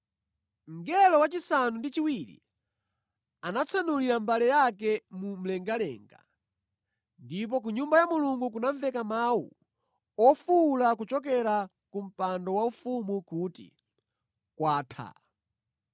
Mngelo wachisanu ndi chiwiri anatsanulira mbale yake mu mlengalenga ndipo ku Nyumba ya Mulungu kunamveka mawu ofuwula kuchokera ku mpando waufumu kuti, “Kwatha!”